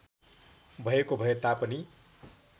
भएको भए तापनि